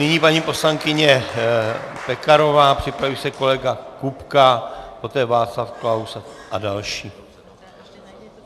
Nyní paní poslankyně Pekarová, připraví se kolega Kupka, poté Václav Klaus a další.